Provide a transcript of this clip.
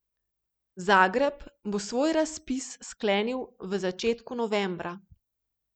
Zagreb bo svoj razpis sklenil v začetku novembra.